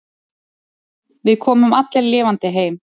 Við komum allir lifandi heim.